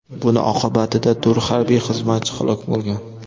Buning oqibatida to‘rt harbiy xizmatchi halok bo‘lgan.